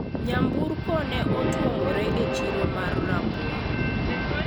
nyamburko ne otwomre e chiro mar rabuon